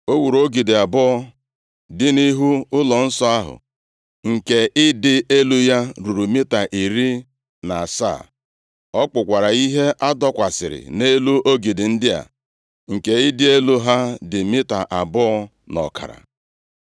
O wuru ogidi abụọ dị nʼihu ụlọnsọ ahụ, nke ịdị elu ya ruru mita iri na asaa. Ọ kpụkwara ihe a dokwasịrị nʼelu ogidi ndị a, nke ịdị elu ha dị mita abụọ na ọkara.